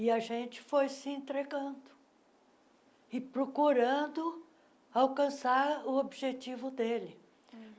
E a gente foi se entregando e procurando alcançar o objetivo dele.